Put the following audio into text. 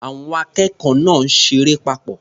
Àwọn akẹ́kọ̀ọ́ náà ṣeré papọ̀.